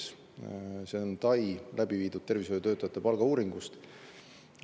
See on TAI läbi viidud tervishoiutöötajate palga uuringust.